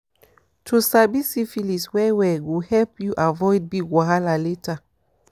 to sabi syphilis well well go help you avoid big wahala later